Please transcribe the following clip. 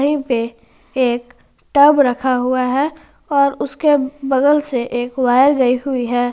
पे एक टब रखा हुआ है और उसके बगल से एक वायर गई हुई है।